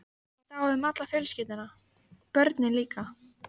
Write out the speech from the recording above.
Þetta á við um alla fjölskylduna- börnin líka.